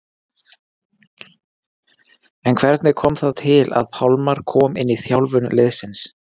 En hvernig kom það til að Pálmar kom inn í þjálfun liðsins?